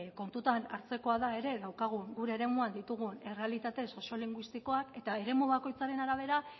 kontutan hartzekoa da ere gure eremuan ditugun errealitate soziolinguistikoak eta eremu bakoitzaren arabera